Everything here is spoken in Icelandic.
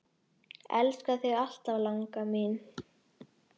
Elska þig alltaf, langa mín.